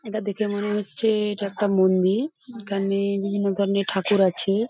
এটা দেখে মনে হচ্ছে এটা একটা মন্দির। এখানে বিভিন্ন ধরণের ঠাকুর আছে।